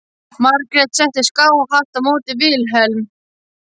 Margrét settist skáhallt á móti Vilhelm.